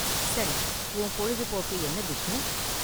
சரி, உன் பொழுபோக்கு என்ன, பிஷ்ணு?